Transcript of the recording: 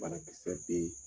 Banakisɛ bɛ yen